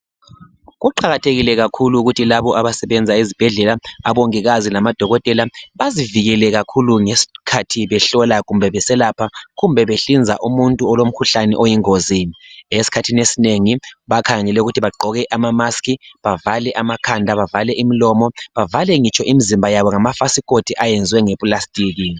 Kuqakathekike kakhulu ukuthi labo abasebenza ezibhedlela, abongikazi namadokotela, bazivikele kakhulu ngeskhathi behlola kumbe beselapha, kumbe behlinza umuntu olomkhuhlane oyingozi. Eskhathin' esinengi, bakhangele ukuthi bagqoke ama mask, bavale amakhanda bavale imilomo, bavale ngitsho imizimba yabo ngamafasikoti ayenzwe ngeplastiki.